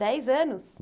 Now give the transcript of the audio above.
Dez anos?